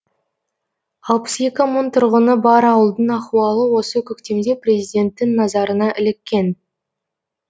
алпыс екі мың тұрғыны бар ауылдың ахуалы осы көктемде президенттің назарына іліккен